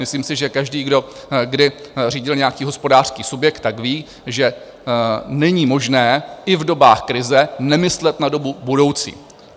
Myslím si, že každý, kdo kdy řídil nějaký hospodářský subjekt, tak ví, že není možné i v dobách krize nemyslet na dobu budoucí.